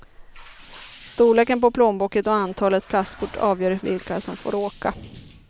Storleken på plånboken och antalet plastkort avgör vilka som får åka.